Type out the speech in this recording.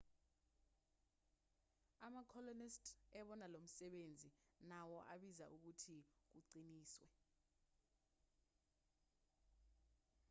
ama-colonist ebona lomsebenzi nawo abiza ukuthi kuqiniswe